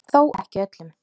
Þó ekki öllum.